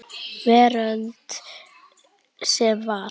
Veröld sem var.